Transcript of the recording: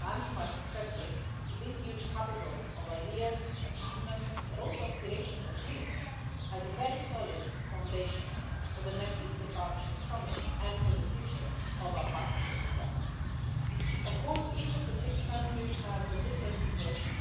and to my successor this huge capital of ideas, achievements, but also aspirations and dreams, as a very solid foundation for the next Eastern Partnership summit and for the future of our Partnership itself. Of course each of the six countries has a different situation